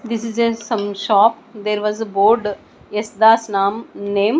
this is a some shop there was a board yes das name.